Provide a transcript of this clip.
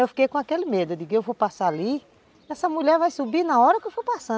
Eu fiquei com aquele medo de que eu vou passar ali e essa mulher vai subir na hora que eu for passar.